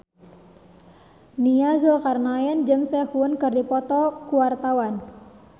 Nia Zulkarnaen jeung Sehun keur dipoto ku wartawan